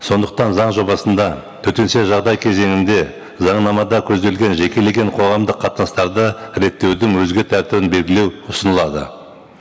сондықтан заң жобасында төтенше жағдай кезеңінде заңнамада көзделген жекелеген қоғамдық қатынастарды реттеудің өзге тәртібін белгілеу ұсынылады